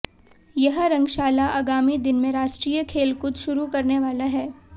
यह रंगशाला आगामी दिन में राष्ट्रीय खेलकूद शुरू करने वाला हैं